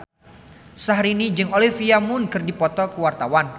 Syahrini jeung Olivia Munn keur dipoto ku wartawan